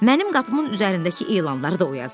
Mənim qapımın üzərindəki elanları da o yazıb.